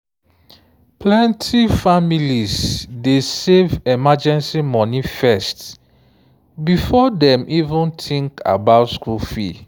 plenty families dey save emergency money first before dem even think about school fee.